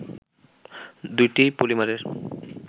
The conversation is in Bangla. দুইটি পলিমারের